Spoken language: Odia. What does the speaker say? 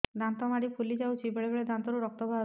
ଦାନ୍ତ ମାଢ଼ି ଫୁଲି ଯାଉଛି ବେଳେବେଳେ ଦାନ୍ତରୁ ରକ୍ତ ବାହାରୁଛି